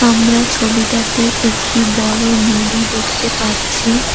আমরা ছবিটাতে একটি বড়ো নদী দেখতে পারছি।